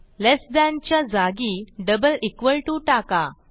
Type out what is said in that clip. लेस than च्या जागी double equal to टाका